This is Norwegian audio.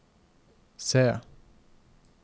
C